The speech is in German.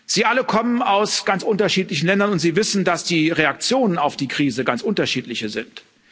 Sie alle kommen aus ganz unterschiedlichen Ländern, und Sie wissen, dass die Reaktionen auf die Krise ganz unterschiedlich sind.